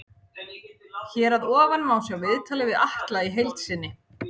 Hér að ofan má sjá viðtalið við Atla í heild sinni.